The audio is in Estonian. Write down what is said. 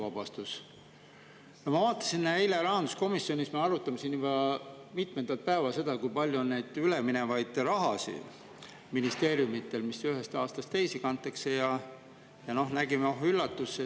Me vaatasime eile – me arutame seda rahanduskomisjonis juba mitmendat päeva –, kui palju on ministeeriumidel raha, mis ühest aastast teise kantakse, ja noh, nägime – oh üllatust!